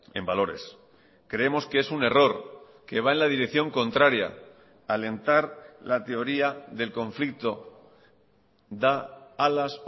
en valores creemos que es un error que va en la dirección contraria alentar la teoría del conflicto da alas